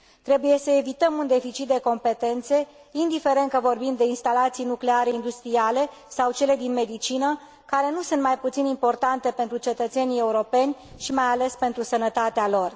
Trebuie să evităm un deficit de competențe, indiferent că vorbim despre instalații nucleare industriale sau despre cele din medicină, care nu sunt mai puțin importante pentru cetățenii europeni și, mai ales, pentru sănătatea lor.